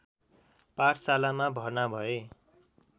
पाठशालामा भर्ना भए